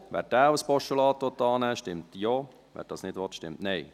Wer diesen als Postulat annehmen will, stimmt Ja, wer das nicht will, stimmt Nein.